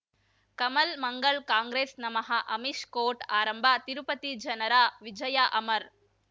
ಕಮಲ್ ಮಂಗಳ್ ಕಾಂಗ್ರೆಸ್ ನಮಃ ಅಮಿಷ್ ಕೋರ್ಟ್ ಆರಂಭ ತಿರುಪತಿ ಜನರ ವಿಜಯ ಅಮರ್